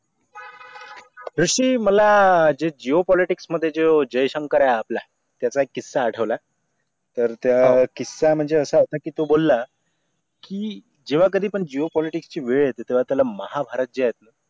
दृष्टि मला जे geopolitics मध्ये जे जय शंकर आहे आपला त्याचा एक किस्सा आठवला तर त्या किस्सा म्हणजे असा आहे ना कि तो बोलला कि जेव्हा कधीपण geopolitics ची वेळ येते तेव्हा त्याला महाभारत जे आहे